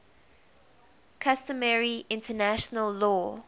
customary international law